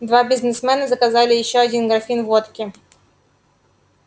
два бизнесмена заказали ещё один графин водки